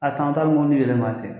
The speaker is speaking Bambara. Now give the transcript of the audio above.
A tɛmɛtɔ bɛ mobili yɛlɛn maa sen kan